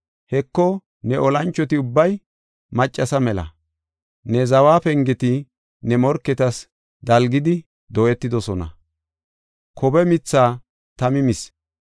Heko, ne olanchoti ubbay maccasa mela. Ne zawa pengeti ne morketas dalgidi dooyetidosona; kobe mithaa tami mis.